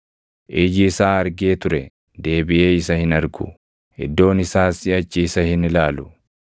Iji isaa argee ture deebiʼee isa hin argu; iddoon isaas siʼachi isa hin ilaalu.